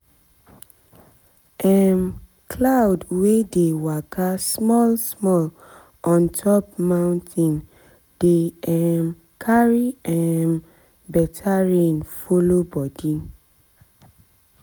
um cloud wey dey waka small small on top mountain mountain dey um carry um better rain follow body